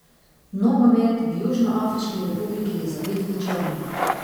Nogomet v Južnoafriški republiki je zavit v črno.